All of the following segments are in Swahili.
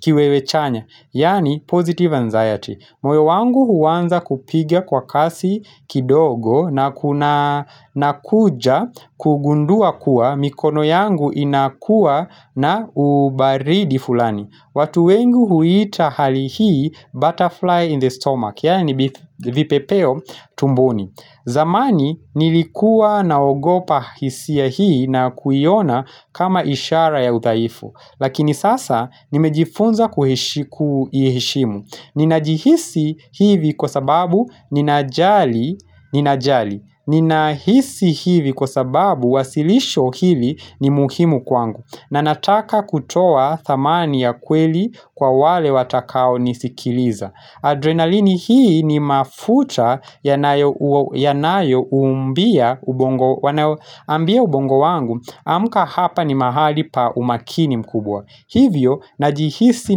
kiwewe chanya Yani positive anxiety moyo wangu huanza kupigia kwa kasi kidogo na kuna nakuja kugundua kuwa mikono yangu inakuwa na ubaridi fulani watu wengi huita hali hii butterfly in the stomach Yani vipepeo tumboni zamani nilikuwa naogopa hisia hii na kuiona kama ishara ya udhaifu Lakini sasa nimejifunza kuiheshimu Ninajihisi hivi kwa sababu ninajali Ninahisi hivi kwa sababu wasilisho hili ni muhimu kwangu na nataka kutoa thamani ya kweli kwa wale watakaonisikiliza Adrenalini hii ni mafuta yanayo ambia ubongo wangu amka hapa ni mahali pa umakini mkubwa Hivyo najihisi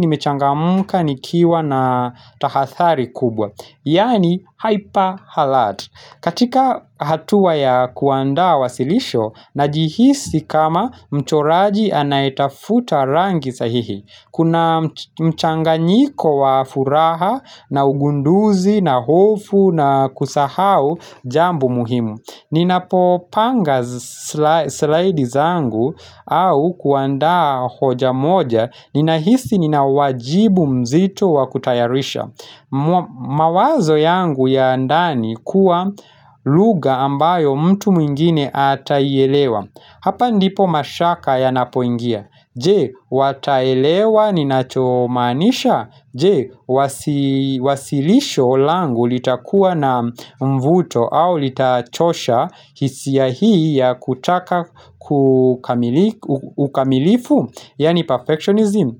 nimechangamka nikiwa na tahadhari kubwa Yani hyper alert katika hatuwa ya kuandaa wasilisho najihisi kama mchoraji anaetafuta rangi sahihi. Kuna mchanganyiko wa furaha na ugunduzi na hofu na kusahau jambo muhimu. Ninapopanga slides zangu au kuandaa hoja moja Ninahisi nina wajibu mzito wa kutayarisha mawazo yangu ya ndani kuwa lugha ambayo mtu mwingine ataielewa Hapa ndipo mashaka yanapoingia Je wataelewa ninachomanisha Je, wasilisho langu litakuwa na mvuto au litachosha hisia hii ya kutaka ukamilifu Yani perfectionism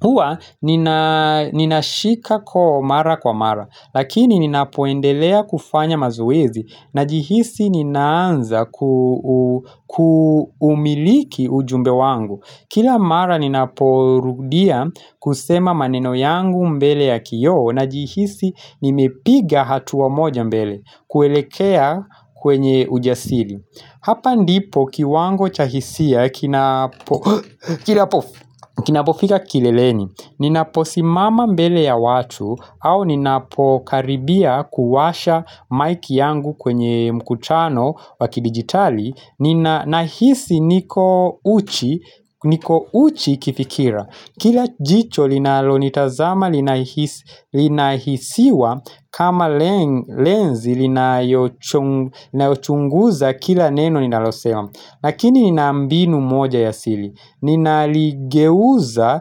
huwa, ninashika koo mara kwa mara Lakini ninapoendelea kufanya mazoezi Najihisi ninanza kuumiliki ujumbe wangu Kila mara ninaporudia kusema maneno yangu mbele ya kioo najihisi nimepiga hatua moja mbele kuelekea kwenye ujasiri Hapa ndipo kiwango cha hisia kinapofika kileleni Ninaposimama mbele ya watu au ninapokaribia kuwasha maiki yangu kwenye mkutano wa kidigitali Ninahisi niko uchi kifikira Kila jicho linalonitazama linahisiwa kama lenzi linayochunguza kila neno ninalosema Lakini ninaambinu moja ya siri Ninaligeuza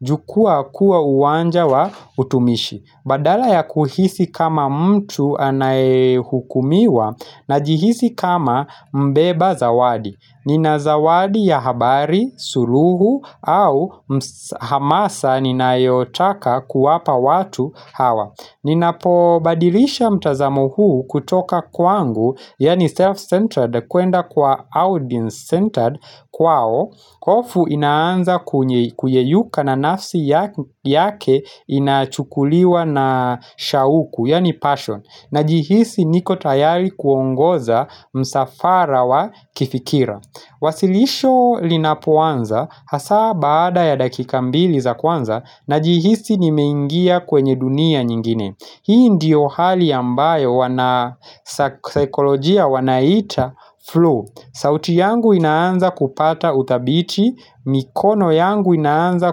jukwaa kuwa uwanja wa utumishi Badala ya kuhisi kama mtu anayehukumiwa Najihisi kama mbeba zawadi, nina zawadi ya habari, suluhu au hamasa ninayotaka kuwapa watu hawa Ninapobadilisha mtazamo huu kutoka kwangu, yani self-centered kuenda kwa audience-centered kwao hofu inaanza kuyeyuka na nafsi yake inachukuliwa na shauku, yani passion Najihisi niko tayari kuongoza msafara wa kifikira Wasilisho linapoanza hasa baada ya dakika mbili za kwanza Najihisi nimeingia kwenye dunia nyingine Hii ndiyo hali ambayo wana saikolojia wanaita fllow sauti yangu inaanza kupata uthabiti mikono yangu inaanza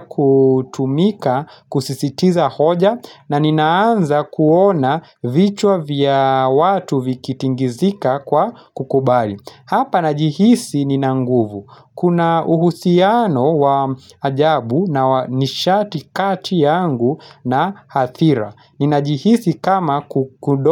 kutumika kusisitiza hoja na ninaanza kuona vichwa vya watu vikitingizika kwa kukubali Hapa najihisi ni nanguvu Kuna uhusiano wa ajabu na wa nishati kati yangu na hadhira Ninajihisi kama kudoka.